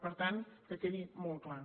per tant que quedi molt clar